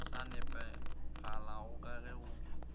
sa nepagalago ka ge go